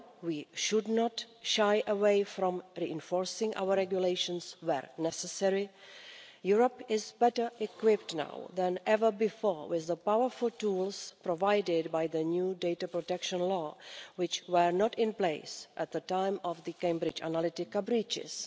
While we should not shy away from reinforcing our regulations where necessary, Europe is better equipped now than ever before with the powerful tools provided by the new data protection law, which were not in place at the time of the Cambridge Analytica breaches.